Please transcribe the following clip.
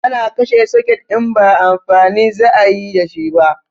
Ana kashe soket in ba amfani za ayi dashi ba